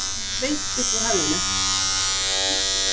Beint upp úr höfðinu.